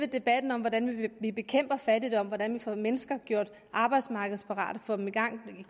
debatten om hvordan vi bekæmper fattigdom og hvordan vi får mennesker gjort arbejdsmarkedsparate får dem i gang med